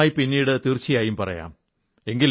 വിശദമായി പിന്നീട് തീർച്ചയായും പറയാം